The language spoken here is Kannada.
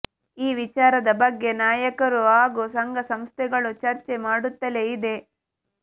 ಈ ವಿಚಾರದ ಬಗ್ಗೆ ನಾಯಕರು ಹಾಗೂ ಸಂಘಸಂಸ್ಥೆಗಳು ಚರ್ಚೆ ಮಾಡುತ್ತಲೇ ಇದೆ